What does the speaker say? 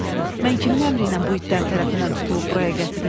Mən kimin əmri ilə bu itlər tərəfindən tutulub buraya gətirilmişəm?